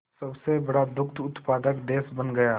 सबसे बड़ा दुग्ध उत्पादक देश बन गया